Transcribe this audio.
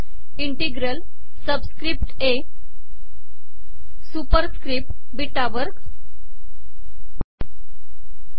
इंिटगल subscript a superscript beta वगर